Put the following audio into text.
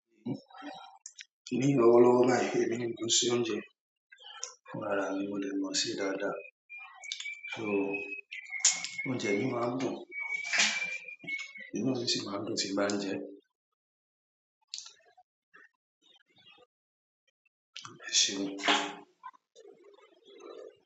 Ní lọ́wọ́ lọ́wọ́ báyìí èmi ni mò n ṣe oúnjẹ fún ara mi, mo dẹ̀ mọ̀ n se dáadáa. So oúnjẹ mi máa ń dùn inú mi sì máa ń dùn tí mo bá n jẹ ẹ́. Bẹ́ẹ̀ sì ni.